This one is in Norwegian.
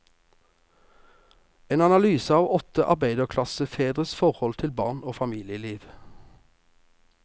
En analyse av åtte arbeiderklassefedres forhold til barn og familieliv.